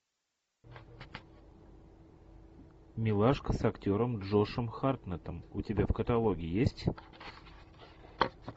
милашка с актером джошем хартнеттом у тебя в каталоге есть